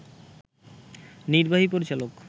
নির্বাহী পরিচালক